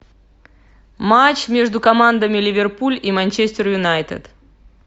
матч между командами ливерпуль и манчестер юнайтед